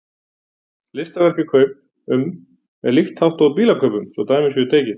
Listaverkakaup- um er líkt háttað og bílakaupum svo dæmi séu tekin.